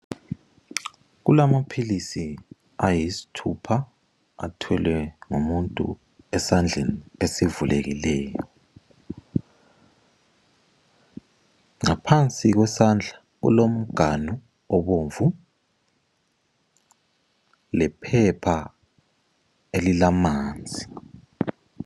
Kulamaphilisi ayisithupha athwele ngumuntu esandleni esivulekileyo. Ngaphansi kwesandla kulomganu obomvu lephepha elilamanzi.